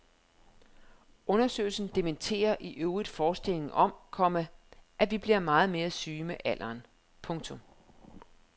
Undersøgelsen dementerer i øvrigt forestillingen om, komma at vi bliver mere syge med alderen. punktum